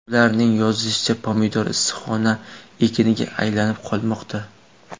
Ularning yozg‘irishicha, pomidor issiqxona ekiniga aylanib qolmoqda.